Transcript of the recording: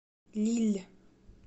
лилль